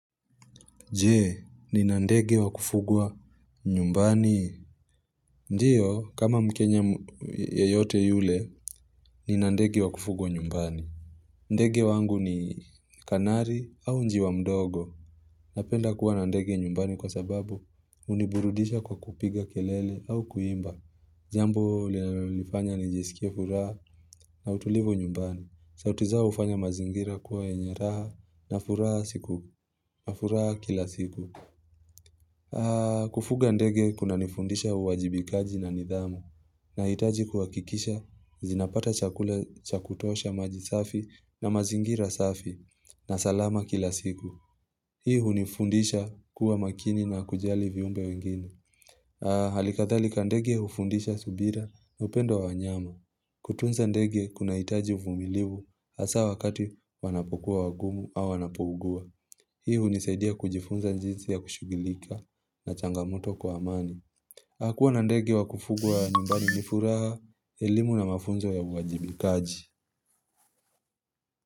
Jee, ni na ndege wa kufugwa nyumbani. Ndiyo, kama mkenya yote yule, ni na ndege wa kufugwa nyumbani. Ndege wangu ni kanari au njiwa mdogo. Napenda kuwa na ndege nyumbani kwa sababu huniburudisha kwa kupiga kelele au kuimba. Jambo linalonifanya nijisikie furaha na utulivu nyumbani. Sauti zao hufanya mazingira kuwa yenye raha na furaha siku. Na furaha kila siku aah Kufuga ndege kunanifundisha uwajibikaji na nidhamu na hitaji kuhakikisha zinapata chakula chakutosha maji safi na mazingira safi na salama kila siku Hii hunifundisha kuwa makini na kujali viumbe wengine aah Hali kathalika ndege hufundisha subira na upendo wanyama Jee, ni nandegi wa kufugwa nyumbani. Hii hunisaidia kujifunza jinsi ya kushugilika na changamoto kwa amani. Kuwa na ndege wa kufugwa nyumbani ni furaha, elimu na mafunzo ya uwajibikaji.